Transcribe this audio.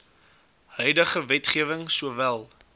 huidige wetgewing sowel